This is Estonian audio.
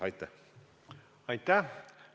Aitäh!